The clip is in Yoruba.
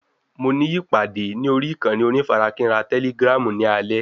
Mo ní ìpàdé ní orí ìkànnì onífarakínra tẹ́lígràm ní alẹ́